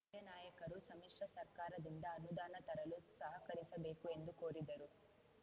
ಸ್ಥಳೀಯ ನಾಯಕರು ಸಮ್ಮಿಶ್ರ ಸರ್ಕಾರದಿಂದ ಅನುದಾನ ತರಲು ಸಹಕರಿಸಬೇಕು ಎಂದು ಕೋರಿದರು